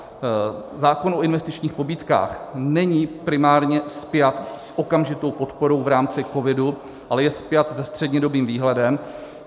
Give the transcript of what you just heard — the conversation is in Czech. Zákon o investičních pobídkách není primárně spjat s okamžitou podporou v rámci covidu, ale je spjat se střednědobým výhledem.